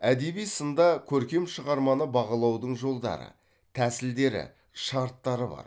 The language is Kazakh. әдеби сында көркем шығарманы бағалаудың жолдары тәсілдері шарттары бар